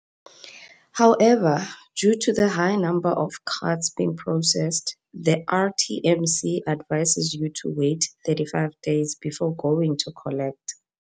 However, due to the high number of cards being processed, the RTMC advises you to wait 35 days before going to collect.